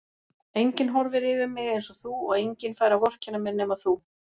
Enginn horfir yfir mig einsog þú og enginn fær að vorkenna mér nema þú.